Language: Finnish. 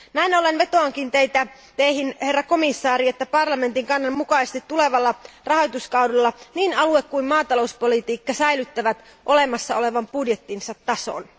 Näin ollen vetoankin Teihin, arvoisa komission jäsen, että parlamentin kannan mukaisesti tulevalla rahoituskaudella niin alue kuin maatalouspolitiikka säilyttävät olemassa olevan budjettinsa tason.